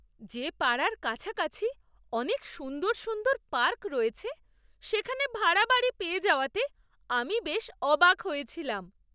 যে পাড়ার কাছাকাছি অনেক সুন্দর সুন্দর পার্ক রয়েছে সেখানে ভাড়া বাড়ি পেয়ে যাওয়াতে আমি বেশ অবাক হয়েছিলাম!